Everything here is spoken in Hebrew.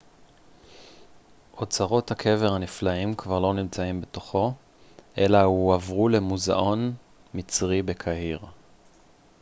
אוצרות הקבר הנפלאים כבר לא נמצאים בתוכו אלא הועברו למוזאון מצרי בקהיר